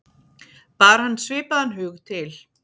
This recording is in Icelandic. Bar hann svipaðan hug til